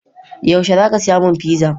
Yaushe za ka saya min fiza?